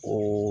O